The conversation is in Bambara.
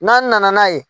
N'an nana n'a ye